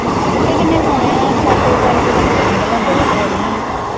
ਪੱਠੇ ਕਿੰਨੇ ਕੇ ਹੋਣੇ ਆ ਚਾਚੇ ਬੀਚਾਰੇ ਕੋਲ ਭਾਵੇ ਜਿੰਨੇ ਲਿਆਂਦੇ ਜਾਂਦੇ ਓਨੇ ਹੀ ਆ।